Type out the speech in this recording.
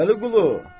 Vəliqulu.